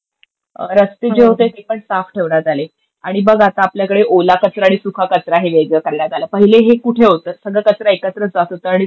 रस्ते जे होते ते पण साफ ठेवण्यात आले आणि बघ आता आपल्याकडे ओला कचरा आणि सुका कचरा वेगळा करण्यात आलं. पहिले हे कुठे होतं? सगळं कचरा एकत्रच जात होता आणि तो